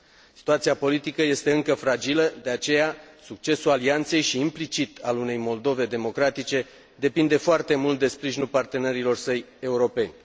Situația politică este încă fragilă, de aceea, succesul alianței și, implicit, al unei Moldove democratice, depinde foarte mult de sprijinul partenerilor săi europeni.